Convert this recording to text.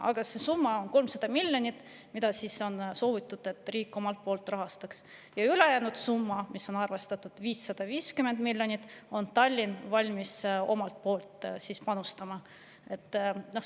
Aga 300 miljonit on see summa, mida on soovitud, et riik, ja ülejäänud summa, mis on arvestuse kohaselt 550 miljonit, on Tallinn valmis omalt poolt panustama.